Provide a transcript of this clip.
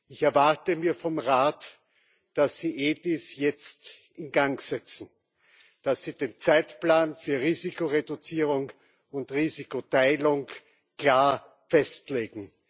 Ich erwarte mir vom Rat, dass Sie EDIS jetzt in Gang setzen, dass Sie den Zeitplan für Risikoreduzierung und Risikoteilung klar festlegen.